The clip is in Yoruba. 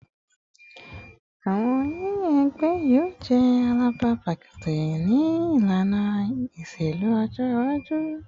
Awọn yiyan ẹgbẹ yoo jẹ abala pataki ti ilana iṣelu ọjọ iwaju